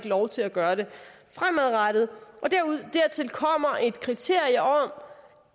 lov til at gøre det fremadrettet dertil kommer et kriterie om